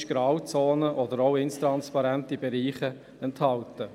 Es sind auch Grauzonen oder intransparente Bereiche enthalten.